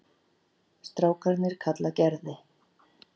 Strákarnir kalla Gerði